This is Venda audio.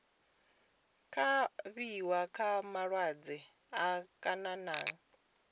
kavhiwa nga malwadze a khanani